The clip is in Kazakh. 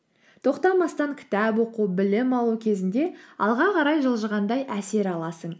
тоқтамастан кітап оқу білім алу кезінде алға қарай жылжығандай әсер аласың